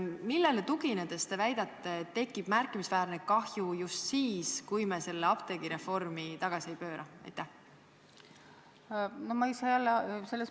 Millele tuginedes te väidate, et tekib märkimisväärne kahju just siis, kui me apteegireformi tagasi ei pööra?